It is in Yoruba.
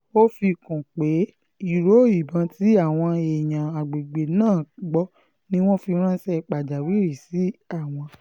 ó fi kún un pé ìró ìbọn tí àwọn èèyàn àgbègbè náà gbọ́ ni wọ́n fi ránṣẹ́ pàjáwìrì sí àwọn